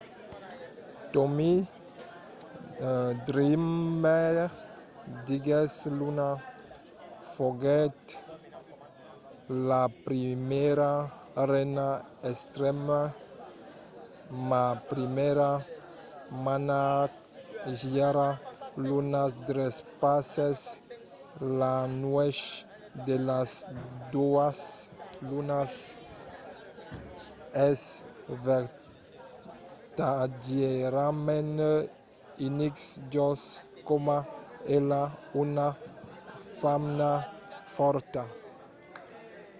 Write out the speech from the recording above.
tommy dreamer diguèt luna foguèt la primièra reina d’extreme. ma primièra manatgièra. luna trespassèt la nuèch de las doas lunas. es vertadièrament unic just coma ela. una femna fòrta.